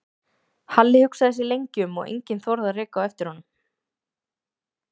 Halli hugsaði sig lengi um og enginn þorði að reka á eftir honum.